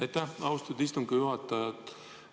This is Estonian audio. Aitäh, austatud istungi juhataja!